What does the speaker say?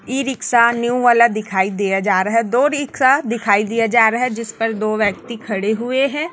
ई rickshaw new वाला दिखाई दिया जा रहा है दो रिक्शा दिखाई दिया जा रहा है जिस पर दो व्यक्ति खड़े हुए हैं।